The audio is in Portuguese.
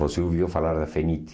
Você ouviu falar da Feniti.